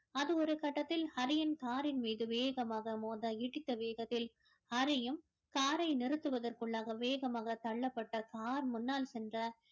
அது ஒரு கட்டத்தில் ஹரியின் car ன் மீது வேகமாக மோத இடித்த வேகத்தில் ஹரியும் car ஐ நிறுத்துவதற்குள்ளாக வேகமாக தள்ளப்பட்ட car முன்னால் சென்ற